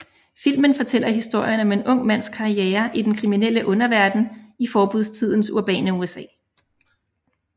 Filmen fortæller historien om en ung mands karriere i den kriminelle underverden i forbudstidens urbane USA